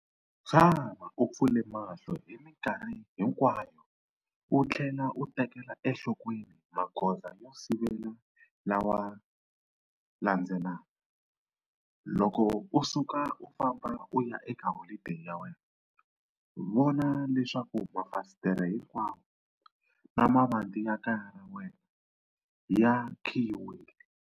Tshama u pfule mahlo hi mikarhi hinkwayo u tlhela u tekela enhlokweni magoza yo sivela lawa landzelaka- Loko u suka u famba u ya eka holideyi ya wena, vona leswaku mafasitere hinkwawo, na mavanti ya kaya ra wena ya khiyiwile.